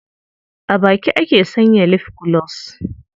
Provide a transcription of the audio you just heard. A baki ake sanya lif gulos.